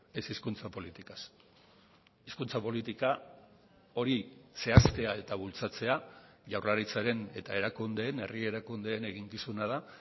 ez hizkuntza politikaz hizkuntza politika hori zehaztea eta bultzatzea jaurlaritzaren eta erakundeen herri erakundeen eginkizuna da